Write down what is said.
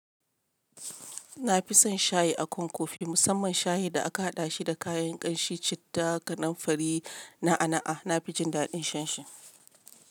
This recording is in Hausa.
Na fi son shayi a kan kofi, musamman shayi da aka haɗa shi da kayan ƙanshi, citta, gadon fari na aana'a. Na fi jin daɗin shan shi.